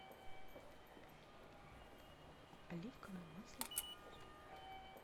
оливковое масло